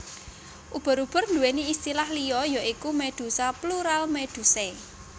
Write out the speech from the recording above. Ubur ubur nduwéni istilah liya ya iku Medusa Plural Medusae